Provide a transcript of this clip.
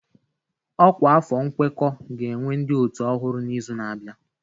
Ọkwa afọ nkwekọ ga-ewe ndị ọ́tù ọhụrụ n'izu na-abịa.